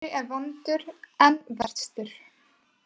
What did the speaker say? Fyrri er vondur en verstur.